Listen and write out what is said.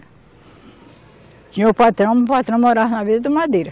Tinha o patrão, o patrão morava na vila da madeira.